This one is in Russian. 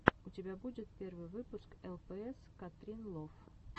у тебя будет первый выпуск лпс катринлов